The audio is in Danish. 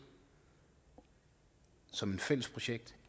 som et fælles projekt